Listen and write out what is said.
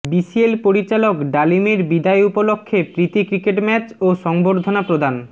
BCL পরিচালক ডালিমের বিদায় উপলক্ষে প্রীতি ক্রিকেট ম্যাচ ও সংবর্ধনা প্রদান